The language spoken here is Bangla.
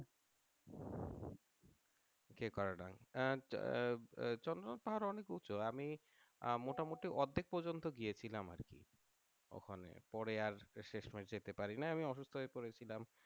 চন্দ্রনাথ পাহাড় অনেক উঁচু আমি মোটামুটি অর্ধেক পর্যন্ত গিয়েছিলাম আর ****** ওখানে পারে আর শেষমেশ যেতে পারিনি অসুস্থ হয়ে পড়েছিলাম